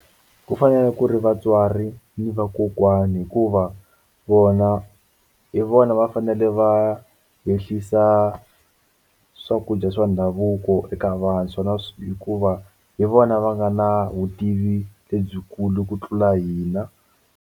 Ku fanele ku ri vatswari ni vakokwana hikuva vona hi vona va fanele va ehlisa swakudya swa ndhavuko eka vantshwa hikuva hi vona va nga na vutivi lebyikulu ku tlula hina.